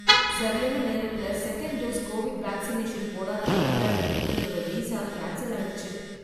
சரியான நேரத்துல second dose Covid vaccination போடாததுனால என்னோட விசா கேன்சல் ஆயிடுச்சு.